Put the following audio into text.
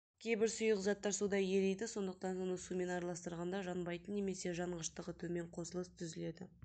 кейбір сұйық заттар суда ериді сондықтан оны сумен араластырғанда жанбайтын немесе жанғыштығы төмен қосылыс түзіледі